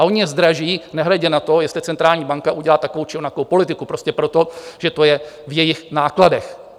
A ony je zdraží nehledě na to, jestli centrální banka udělá takovou, či onakou politiku, prostě proto, že to je v jejich nákladech.